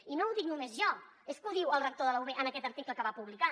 i no ho dic només jo és que ho diu el rector de la ub en aquest article que va publicar